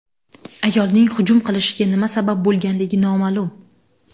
Ayolning hujum qilishiga nima sabab bo‘lganligi noma’lum.